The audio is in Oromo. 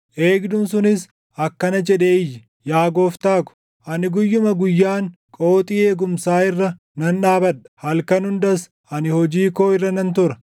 Eegduun sunis akkana jedhee iyye; “Yaa gooftaa ko, ani guyyuma guyyaan qooxii eegumsaa irra nan dhaabadha; halkan hundas ani hojii koo irra nan tura.